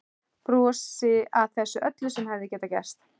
Brosi að þessu öllu sem hefði getað gerst.